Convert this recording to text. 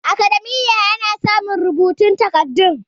academia ana samun rubutun takardun